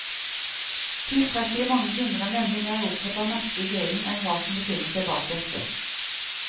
Tilstrekkelig mange kunder er nemlig mer opptatt av merket i grillen enn hva som befinner seg bak dette.